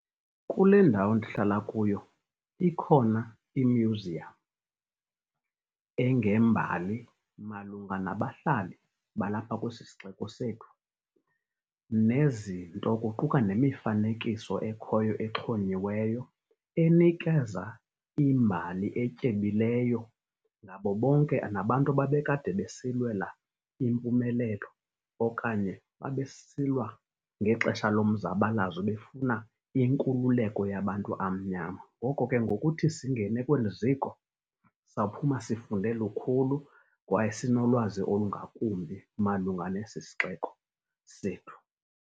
Kule ndawo ndihlala kuyo ikhona i-museum engembali malunga nabahlali balapha kwesi sixeko sethu, nezinto kuquka nemifanekiso ekhoyo exhonyiweyo enikeza imbali etyebileyo, nabo bonke nabantu ababekade besilwela impumelelo, okanye babesilwa ngexesha lomzabalazo befuna inkululeko yabantu amnyama. Ngoko ke ngokuthi singene kweli ziko sawuphuma sifunde lukhulu, kwaye sinolwazi olungakumbi malunga nesi sixeko sethu.